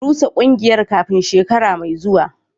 Rusa kungiyar kafin shekara mai zuwa